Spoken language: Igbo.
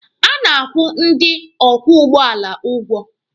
A na-akwụ ndị ọkwọ ụgbọala ụgwọ